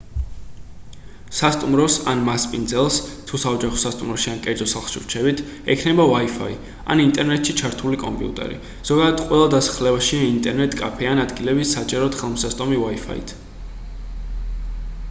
სასტუმროს ან მასპინძელს თუ საოჯახო სასტუმროში ან კერძო სახლში რჩებით ექნება wi-fi ან ინტერნეტში ჩართული კომპიუტერი ზოგადად ყველა დასახლებაშია ინტერნეტ კაფე ან ადგილები საჯაროდ ხელმისაწვდომი wi-fi-ით